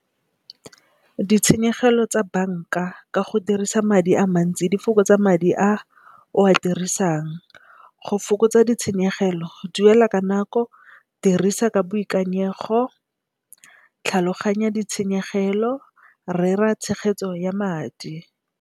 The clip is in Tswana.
Ditshenyegelo tsa banka ka go dirisa madi a mantsi di fokotsa madi a o a dirisang. Go fokotsa ditshenyegelo, duela ka nako, dirisa ka boikanyego tlhaloganya ditshenyegelo, rera tshegetso ya madi.